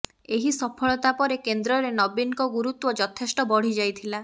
ଏହି ସଫଳତା ପରେ କେନ୍ଦ୍ରରେ ନବୀନଙ୍କ ଗୁରୁତ୍ୱ ଯଥେଷ୍ଟ ବଢି ଯାଇଥିଲା